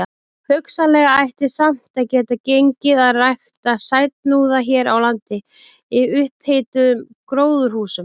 Hugsanlega ætti samt að geta gengið að rækta sætuhnúða hér á landi í upphituðum gróðurhúsum.